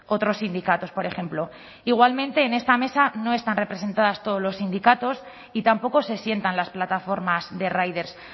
otros sindicatos por ejemplo igualmente en esta mesa no están representados todos los sindicatos y tampoco se sientan las plataformas de riders